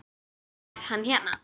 Var hann hérna?